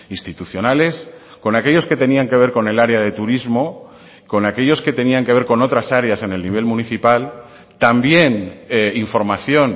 institucionales con aquellos que tenían que ver con el área de turismo con aquellos que tenían que ver con otras áreas en el nivel municipal también información